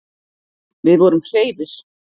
Við vorum hreifir.